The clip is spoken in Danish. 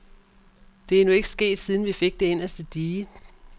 Det er nu ikke sket, siden vi fik det inderste dige.